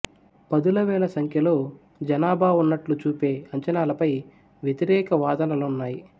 పదుల వేల సంఖ్యలో జనాభా ఉన్నట్లు చూపే అంచనాలపై వ్యతిరేక వాదనలున్నాయి